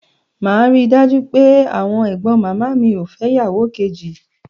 Màá ri dájú pé àwọn ẹ̀gbọ́n màmá mi ò fẹ́ ìyàwò kejì.